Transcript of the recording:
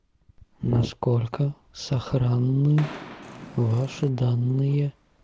насколько сохранны ваши данные